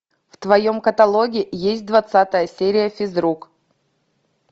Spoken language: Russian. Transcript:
в твоем каталоге есть двадцатая серия физрук